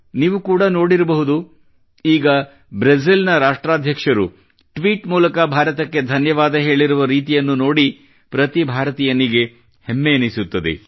ನೀವು ಕೂಡಾ ನೋಡಿರಬಹುದು ಈಗ ಬ್ರೆಜಿಲ್ ನ ರಾಷ್ಟ್ರಾಧ್ಯಕ್ಷರು ಟ್ವೀಟ್ ಮೂಲಕ ಭಾರತಕ್ಕೆ ಧನ್ಯವಾದ ಹೇಳಿರುವ ರೀತಿಯನ್ನು ನೋಡಿ ಪ್ರತಿ ಭಾರತೀಯನಿಗೆ ಎಷ್ಟು ಹೆಮ್ಮೆಯೆನಿಸುತ್ತದೆ